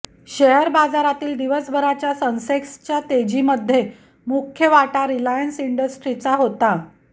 share बाजारातील दिवसभराच्या सेन्सेक्सच्या तेजीमध्ये मुख्य वाटा रिलायन्स इंडस्ट्रीजचा होता